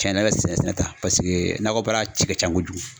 Cɛnna ne bɛ sɛnɛ ta paseke nakɔbaara ci ka ca kojugu.